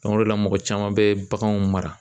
o de la mɔgɔ caman bɛ baganw mara.